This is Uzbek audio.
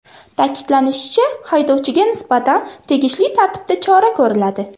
Ta’kidlanishicha, haydovchiga nisbatan tegishli tartibda chora ko‘riladi.